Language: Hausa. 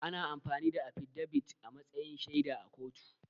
Ana amfani da affidabit a matsayin shaida a kotu